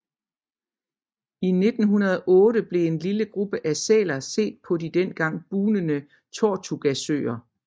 I 1908 blev en lille gruppe af sæler set på de engang bugnende Tortugasøer